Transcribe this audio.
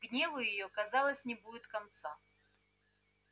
гневу её казалось не будет конца